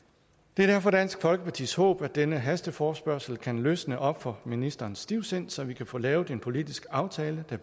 det er derfor dansk folkepartis håb at denne hasteforespørgsel kan løsne op for ministerens stivsind så vi kan få lavet en politisk aftale der